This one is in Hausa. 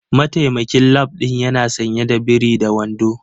Mataimakin lab din yana sanye da biri da wando.